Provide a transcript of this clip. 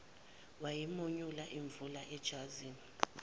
wayimonyula imvubu ejazini